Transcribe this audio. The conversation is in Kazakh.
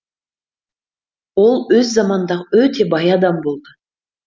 ол өз заманындағы өте бай адам болды